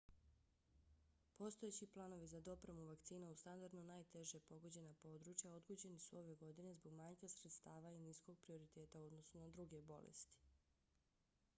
postojeći planovi za dopremu vakcina u standardno najteže pogođena područja odgođeni su ove godine zbog manjka sredstava i niskog prioriteta u odnosu na druge bolesti